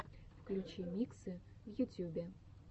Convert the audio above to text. включи миксы в ютюбе